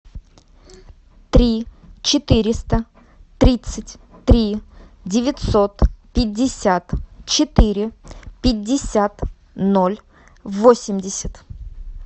три четыреста тридцать три девятьсот пятьдесят четыре пятьдесят ноль восемьдесят